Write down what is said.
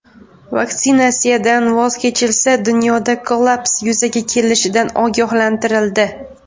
Vaksinatsiyadan voz kechilsa, dunyoda kollaps yuzaga kelishidan ogohlantirildi.